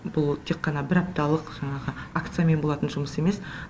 бұл тек қана бір апталық жаңағы акциямен болатын жұмыс емес